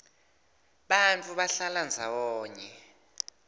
bantfu bahlala ndzawonye